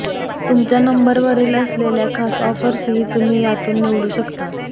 तुमच्या नंबरवरील असलेल्या खास ऑफर्सही तुम्ही यातून निवडू शकता